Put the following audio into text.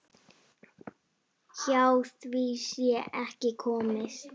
Hjá því sé ekki komist.